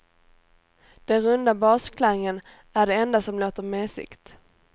Den runda basklangen är det enda som låter mesigt.